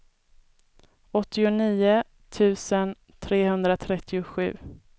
åttionio tusen trehundratrettiosju